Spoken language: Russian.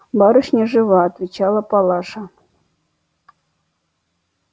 барышня жива отвечала палаша